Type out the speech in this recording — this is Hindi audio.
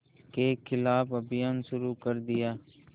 के ख़िलाफ़ अभियान शुरू कर दिया